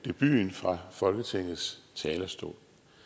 debuten fra folketingets talerstol